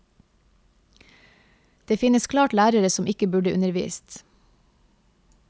Det finne klart lærere som ikke burde undervist.